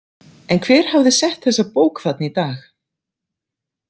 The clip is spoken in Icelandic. En hver hafði sett þessa bók þarna í dag?